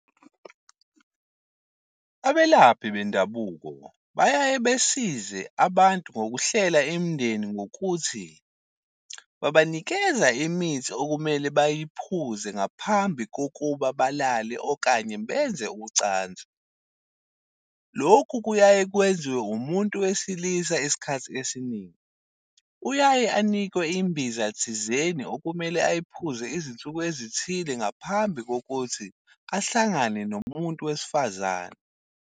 Abelaphi bendabuko bayaye besize abantu ngokuhlela imindeni ngokuthi babanikeza imithi okumele bayiphuze ngaphambi kokuba balale okanye benze uchansi. Lokhu kuyaye kwenziwe umuntu wesilisa esikhathi esiningi. Uyaye anikwe imbiza thizeni okumele ayiphuze izinsuku ezithile ngaphambi kokuthi ahlangane nomuntu wesifazane.